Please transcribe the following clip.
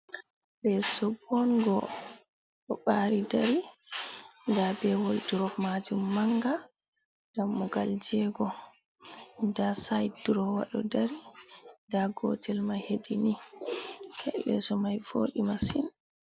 Leeso bonngo ɗo ɓaari dari, nda be wolduro maajum mannga, dammugal jeego, nda sayit duroowa ɗo dari, nda gootel may hedi ni, leeso may vooɗi masin.